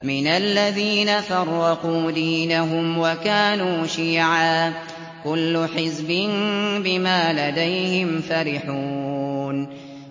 مِنَ الَّذِينَ فَرَّقُوا دِينَهُمْ وَكَانُوا شِيَعًا ۖ كُلُّ حِزْبٍ بِمَا لَدَيْهِمْ فَرِحُونَ